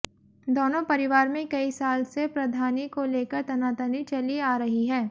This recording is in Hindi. दोनों परिवार में कई साल से प्रधानी को लेकर तनातनी चली आ रही है